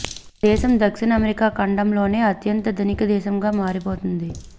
ఆ దేశం దక్షిణ అమెరికా ఖండంలోనే అత్యంత ధనిక దేశంగా మారిపోతుంది